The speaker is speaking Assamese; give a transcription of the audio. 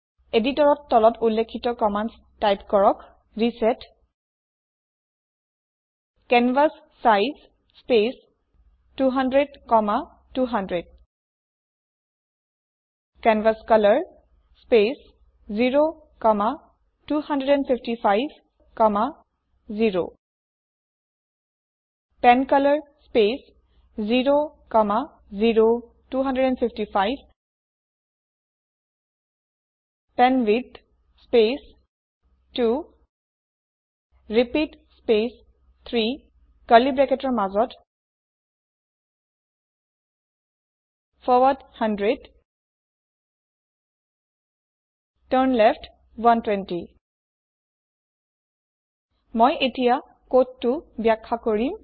এদিটৰrত তলত উল্লেখিত কম্মান্দ টাইপ কৰক reset canvas size space 200200 canvas colour space 02550 pen colour space 00255 pen width space 2 repeat space 3 curly ব্ৰেকেটৰ মাজত ফৰৱাৰ্ড 100 টাৰ্ণলেফ্ট 120 মই এতিয়া কোডটো বাখয়া কৰিম